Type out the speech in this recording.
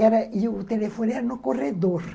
E o telefone era no corredor.